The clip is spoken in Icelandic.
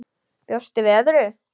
Bjóstu við öðru?